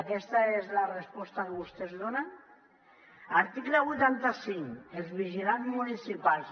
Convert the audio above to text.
aquesta és la resposta que vostès donen article vuitanta cinc els vigilants municipals